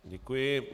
Děkuji.